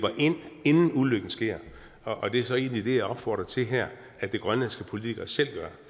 ind inden ulykken sker og det er så egentlig det jeg opfordrer til her at de grønlandske politikere selv gør